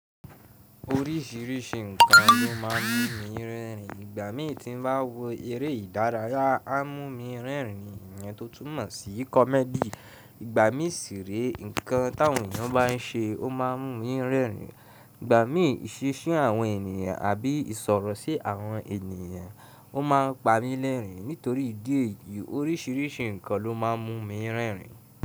Oríṣìíríṣìí nǹkan ló má ń mú mi rẹ́rìn. Ìgbà mí tí n bá wo eré ìdárayá, a mú mi rẹ́rìn. Ìyẹn tó túmọ̀ sí comedy. Ìgbà mí ṣire, nǹkan tí àwọn ènìyàn bá n ṣe, ó ma mú mi rẹ́rìn. Ìgbà isise àwọn ènìyàn àbí ìṣòro sí àwọn ènìyàn, ó ma n pa mí lẹ́rìn. Nítorí ìdí èyí, oríṣìíríṣìí nǹkan ló má ń mú mi rẹ́rìn.